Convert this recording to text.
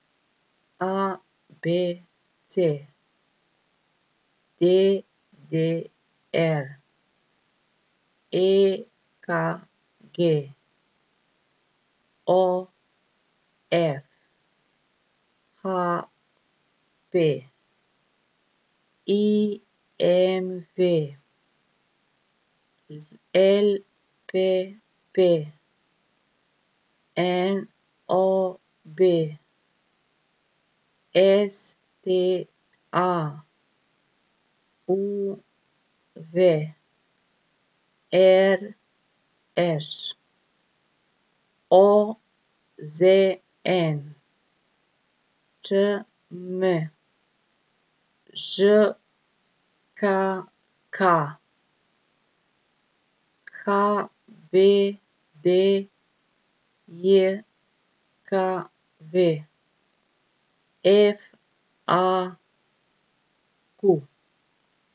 A B C; D D R; E K G; O F; H P; I M V; L P P; N O B; S T A; U V; R Š; O Z N; Č M; Ž K K; H B D J K V; F A Q.